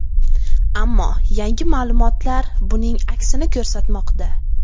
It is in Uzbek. Ammo yangi ma’lumotlar buning aksini ko‘rsatmoqda.